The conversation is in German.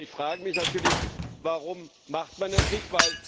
Ich frage mich natürlich Warum macht man das nicht?